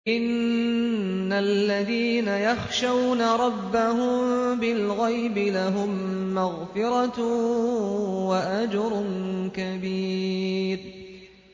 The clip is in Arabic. إِنَّ الَّذِينَ يَخْشَوْنَ رَبَّهُم بِالْغَيْبِ لَهُم مَّغْفِرَةٌ وَأَجْرٌ كَبِيرٌ